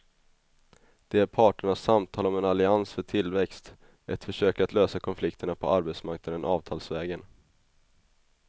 Det är parternas samtal om en allians för tillväxt, ett försök att lösa konflikterna på arbetsmarknaden avtalsvägen.